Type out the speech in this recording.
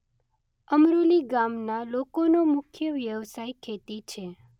અમરોલી ગામના લોકોનો મુખ્ય વ્યવસાય ખેતી છે.